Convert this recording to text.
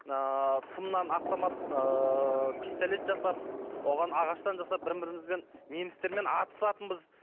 ыыы сымнан автомат ыыы пистолет жасап оған ағаштан жасап бірін бірімізбен немістермен атысатынбыз